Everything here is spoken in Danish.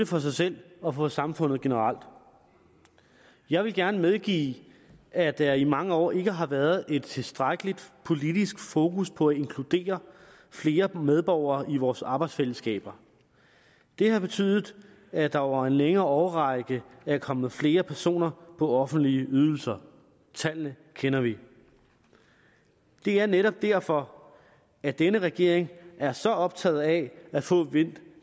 for sig selv og for samfundet generelt jeg vil gerne medgive at der i mange år ikke har været et tilstrækkeligt politisk fokus på at inkludere flere medborgere i vores arbejdsfællesskaber det har betydet at der over en længere årrække er kommet flere personer på offentlige ydelser tallene kender vi det er netop derfor at denne regering er så optaget af at få vendt